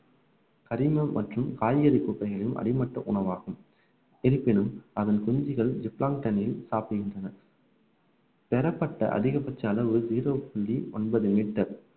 கரிமம் மற்றும் காய்கறி குப்பைகளின் அடிமட்ட உணவாகும் இருப்பினும் அதன் குஞ்சுகள் சாப்பிடுகின்றன பெறப்பட்ட அதிகபட்ச அளவு ஜீரோ புள்ளி ஒன்பது மீட்டர்